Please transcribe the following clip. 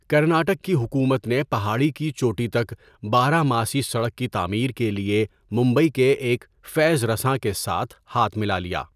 کرناٹک کی حکومت نے پہاڑی کی چوٹی تک بارہ ماسی سڑک کی تعمیر کے لیے ممبئی کے ایک فیض رساں کے ساتھ ہاتھ ملا لیا۔